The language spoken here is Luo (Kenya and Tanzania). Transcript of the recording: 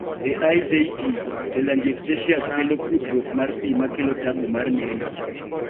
e IJT, telangiectasias kelo kudruok mar pii makelo tabu mar neno